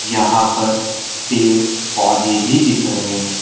यहां पर पेड़ पौधे भी दिख रहे हैं।